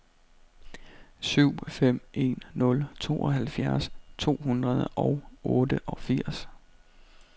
syv fem en nul tooghalvfjerds to hundrede og otteogfirs